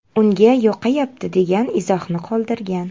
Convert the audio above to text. Unga yoqayapti” degan izohni qoldirgan.